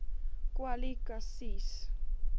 kwali ka sies